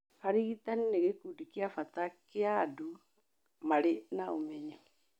Arigitani nĩ gĩkundi kĩa bata kĩa andũ marĩ na ũmenyo.